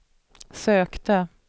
sökte